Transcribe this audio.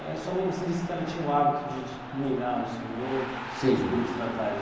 Eh sua mãe, você disse que ela tinha o hábito de ninar o senhor Sim Nos períodos da tarde.